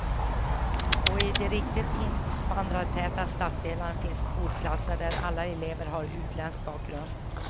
Och i de riktigt invandrartäta stadsdelarna finns skolklasser där alla elever har utländsk bakgrund.